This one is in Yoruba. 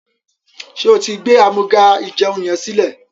ṣe o tí gbé Amúga-ìjẹun yén silẹ?